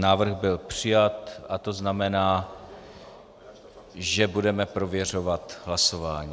Návrh byl přijat a to znamená - že budeme prověřovat hlasování.